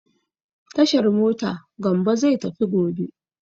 Tashar mota Gambo zai tafi gobe.